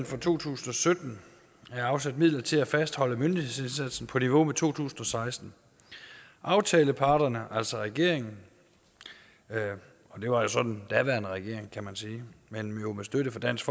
for to tusind og sytten er afsat midler til at fastholde myndighedsindsatsen på niveau med to tusind og seksten aftaleparterne altså regeringen det var så den daværende regering kan man sige men jo med støtte fra dansk